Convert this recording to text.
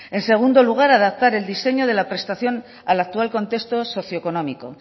en segundo lugar adaptar el diseño de la prestación al actual contexto socioeconómico